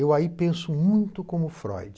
Eu aí penso muito como Freud.